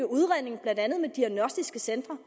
udredningen blandt andet med diagnostiske centre